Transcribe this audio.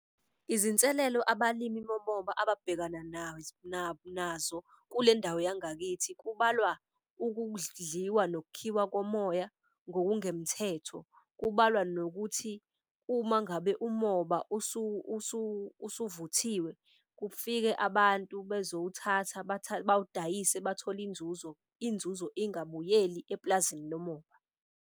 Izinselelo abalimi bomoba ababhekana nazo kule ndawo yangakithi kubalwa ukudliwa nokukhiwa komoya ngokungemthetho. Kubalwa nokuthi uma ngabe umoba usuvuthiwe, kufike abantu bezowuthatha bawudayise bathole inzuzo. Inzuzo ingabuyeli eplazini lomoba.